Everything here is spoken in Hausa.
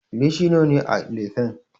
Leshi nawa ne a lefen?